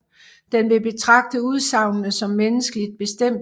Den vil betragte udsagnene som menneskeligt bestemte